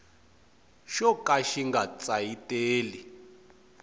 xo ka xi nga tsayiteli